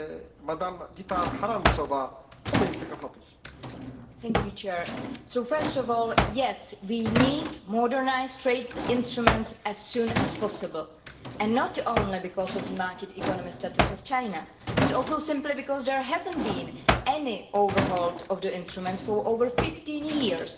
Mr President, first of all, yes, we need modernised trade instruments as soon as possible, and not only because of the market economy status of China but also simply because there has not been any overhaul of the instruments for over 15 years.